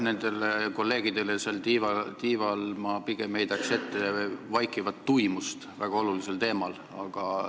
Nendele kolleegidele seal tiival ma pigem heidaks ette vaikivat tuimust väga olulise teema arutelul.